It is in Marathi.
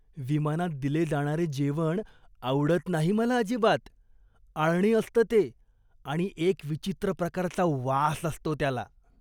विमानात दिले जाणारे जेवण आवडत नाही मला अजिबात. आळणी असतं ते आणि एक विचित्र प्रकारचा वास असतो त्याला.